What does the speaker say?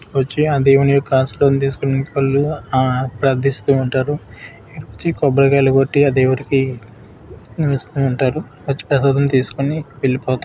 వచ్చి ఆ దేవుని యొక్క ఆశీర్వాదం తీసుకునేటోళ్లు ఆ ప్రార్థిస్తూ ఉంటారు. వచ్చి కొబ్బరికాయలు కొట్టి ఆ దేవుడికి ఇస్తూ ఉంటారు. వచ్చి ప్రసాదం తీసుకొని వెళ్ళిపోతారు.